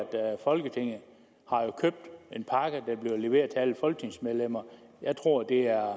folketinget har købt en pakke der bliver leveret til alle folketingsmedlemmer jeg tror at det er